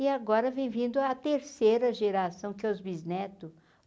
E agora vem vindo a terceira geração, que é os bisneto.